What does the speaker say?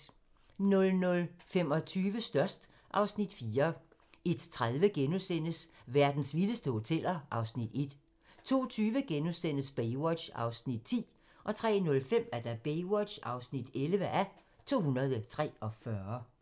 00:25: Størst (Afs. 4) 01:30: Verdens vildeste hoteller (Afs. 1)* 02:20: Baywatch (10:243)* 03:05: Baywatch (11:243)